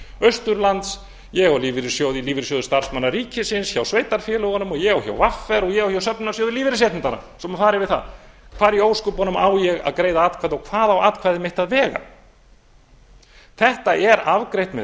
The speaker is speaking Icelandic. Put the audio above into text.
austurlands ég á lífeyri í lífeyrissjóði starfsmanna ríkisins hjá sveitarfélögunum hjá vr og ég á hjá söfnunarsjóði lífeyrisréttinda svo ég fari yfir það hvar í ósköpunum á ég að greiða atkvæði og hvað á atkvæði mitt að vega þetta er afgreitt með